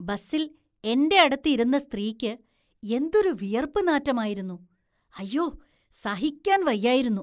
ബസില്‍ എന്റെയടുത്ത് ഇരുന്ന സ്ത്രീക്ക് എന്തൊരു വിയര്‍പ്പ് നാറ്റമായിരുന്നു, അയ്യോ സഹിക്കാന്‍ വയ്യായിരുന്നു.